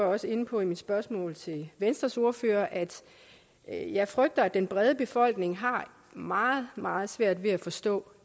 også inde på i mit spørgsmål til venstres ordfører at jeg frygter at den brede befolkning har meget meget svært ved at forstå